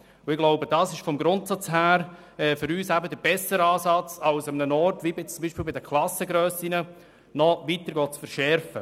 Grundsätzlich ist das für uns der bessere Ansatz als Massnahmen, wie zum Beispiel eine weitere Verschärfung bei den Klassengrössen.